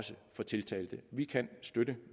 for tiltalte vi kan støtte